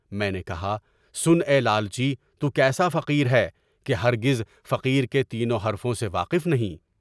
میں نے کہا سن اے لالچی! تو کیسا فقیر ہے کہ ہرگز فقیر کے تینوں حرفوں سے واقف نہیں؟